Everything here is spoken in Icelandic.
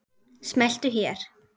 Smelltu hér.